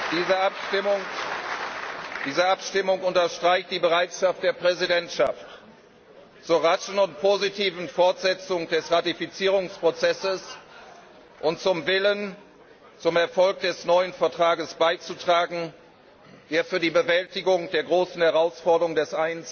Diese Abstimmung unterstreicht die Bereitschaft der Präsidentschaft zur raschen und positiven Fortsetzung des Ratifizierungsprozesses und zum Willen, zum Erfolg des neuen Vertrages beizutragen, der für die Bewältigung der großen Herausforderungen des